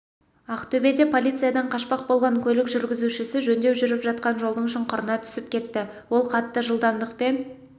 ақтөбеде полициядан қашпақ болған көлік жүргізушісі жөндеу жүріп жатқан жолдың шұңқырына түсіп кетті ол қатты жылдамдықпен